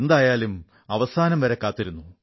എന്തായാലും അവസാനം അവസരം എത്തിയിരിക്കുന്നു